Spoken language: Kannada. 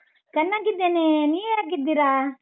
ಚನ್ನಾಗಿದ್ದೇನೆ, ನೀವ್ ಹೇಗಿದ್ದೀರಾ?